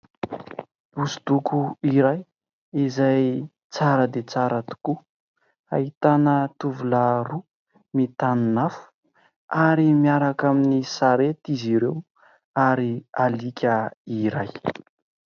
Hosodoko iray izay tsara dia tsara tokoa, ahitana tovolahy roa mitanin'afo ary miaraka amin'ny sarety izy ireo ary alika iray.